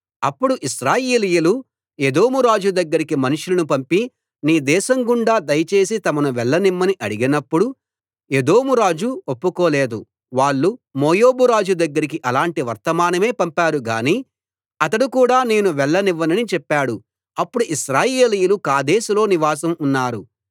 అప్పుడు ఇశ్రాయేలీయులు ఎదోము రాజు దగ్గరికి మనుషులను పంపి నీ దేశం గుండా దయచేసి తమను వెళ్ళనిమ్మని అడిగినప్పుడు ఎదోము రాజు ఒప్పుకోలేదు వాళ్ళు మోయాబు రాజు దగ్గరికి అలాంటి వర్తమానమే పంపారు గాని అతడు కూడా నేను వెళ్ళనివ్వనని చెప్పాడు అప్పుడు ఇశ్రాయేలీయులు కాదేషులో నివాసం ఉన్నారు